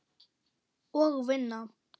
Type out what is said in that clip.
Og vinna.